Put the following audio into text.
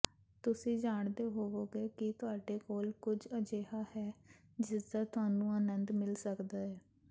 ਤੁਸੀਂ ਜਾਣਦੇ ਹੋਵੋਗੇ ਕਿ ਤੁਹਾਡੇ ਕੋਲ ਕੁਝ ਅਜਿਹਾ ਹੈ ਜਿਸਦਾ ਤੁਹਾਨੂੰ ਆਨੰਦ ਮਿਲ ਸਕਦਾ ਹੈ